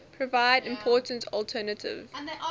provide important alternative